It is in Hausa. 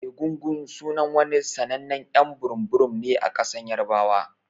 Egungun sunan wani sannanen y'an burum burum ne a kasan yarbawa.